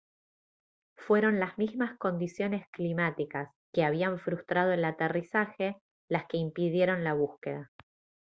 fueron las mismas condiciones climáticas que habían frustrado el aterrizaje las que impidieron la búsqueda